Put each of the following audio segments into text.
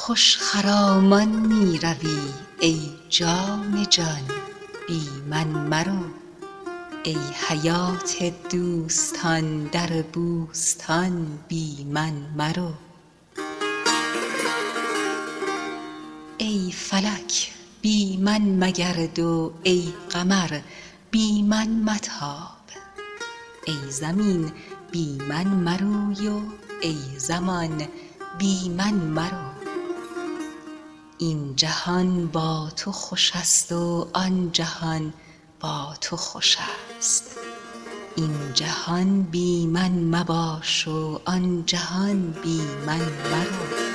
خوش خرامان می روی ای جان جان بی من مرو ای حیات دوستان در بوستان بی من مرو ای فلک بی من مگرد و ای قمر بی من متاب ای زمین بی من مروی و ای زمان بی من مرو این جهان با تو خوش است و آن جهان با تو خوش است این جهان بی من مباش و آن جهان بی من مرو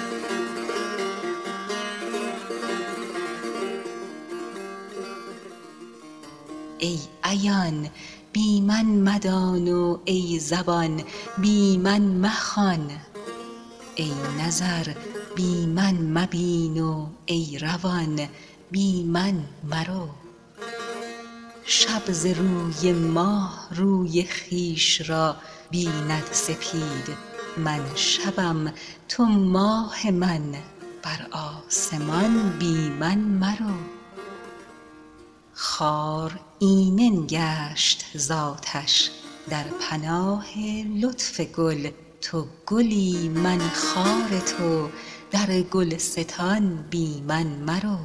ای عیان بی من مدان و ای زبان بی من مخوان ای نظر بی من مبین و ای روان بی من مرو شب ز نور ماه روی خویش را بیند سپید من شبم تو ماه من بر آسمان بی من مرو خار ایمن گشت ز آتش در پناه لطف گل تو گلی من خار تو در گلستان بی من مرو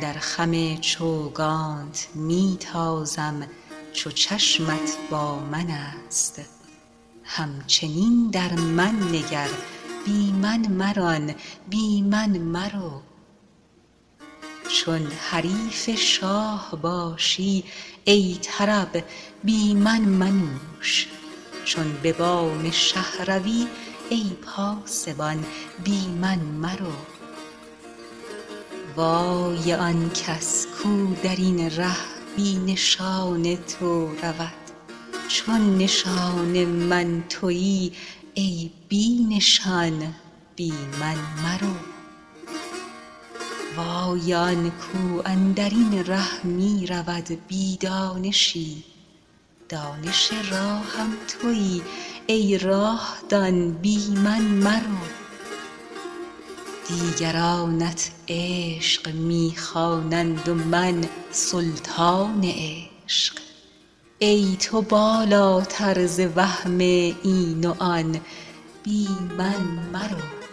در خم چوگانت می تازم چو چشمت با من است همچنین در من نگر بی من مران بی من مرو چون حریف شاه باشی ای طرب بی من منوش چون به بام شه روی ای پاسبان بی من مرو وای آن کس کو در این ره بی نشان تو رود چو نشان من توی ای بی نشان بی من مرو وای آن کو اندر این ره می رود بی دانشی دانش راهم توی ای راه دان بی من مرو دیگرانت عشق می خوانند و من سلطان عشق ای تو بالاتر ز وهم این و آن بی من مرو